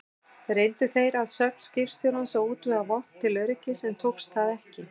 Reyndu þeir að sögn skipstjórans að útvega vopn til öryggis, en tókst það ekki.